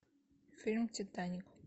фильм титаник